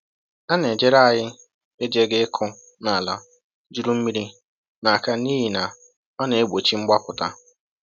“A na‑ejere anyị ejeghị íkụ na ala juru mmiri n’aka n’ihi na ọ na‑egbochi mgbapụta